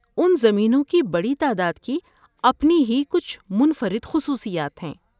اُن زمینوں کی بڑی تعداد کی اپنی ہی کچھ منفرد خصوصیات ہیں۔